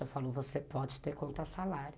Eu falo, você pode ter conta salário.